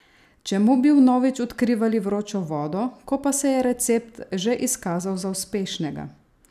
Čemu bi vnovič odkrivali vročo vodo, ko pa se je recept že izkazal za uspešnega?